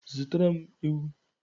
Zụtara m ewu